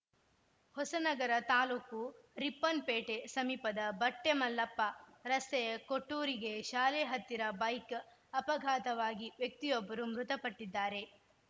ಹೊಸನಗರ ತಾಲೂಕು ರಿಪ್ಪನ್‌ಪೇಟೆ ಸಮೀಪದ ಬಟ್ಟೆಮಲ್ಲಪ್ಪ ರಸ್ತೆಯ ಕೊಟ್ಟೂರಿಗೆ ಶಾಲೆಯ ಹತ್ತಿರ ಬೈಕ್‌ ಅಪಘಾತವಾಗಿ ವ್ಯಕ್ತಿಯೊಬ್ಬರು ಮೃತಪಟ್ಟಿದ್ದಾರೆ